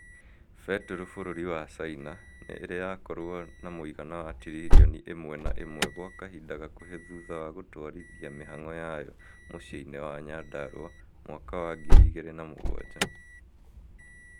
betoro bũrũri wa china nĩ ĩrĩ yakorwo na mũigana wa tiririoni imwe na imwe gwa kahinda gakuhi thutha wa gũtwarithia mĩhango yayo mũcii-inĩ wa nyandaraua mwaka wa ngiri igĩrĩ na mũgwanja